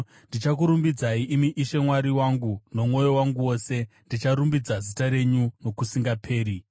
Ndichakurumbidzai, imi Ishe Mwari wangu, nomwoyo wangu wose; ndicharumbidza zita renyu nokusingaperi.